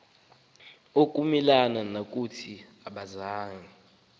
ukomelela ngokungathi akazange